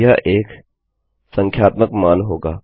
अब यह एक संख्यात्मक मान होगा